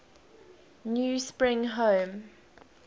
new spring home